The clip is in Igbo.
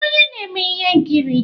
Ị bụ onye na-eme ihe nkiri?